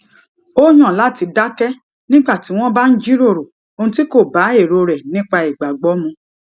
ó yàn láti dákẹ nígbà tí wọn bá ń jíròrò ohun tí kò bá èrò rẹ nípa ìgbàgbọ mu